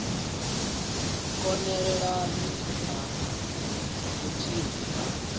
kon elelana na vhuthihi ha